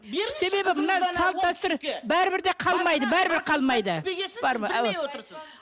себебі мына салт дәстүр бәрібір де қалмайды бәрібір қалмайды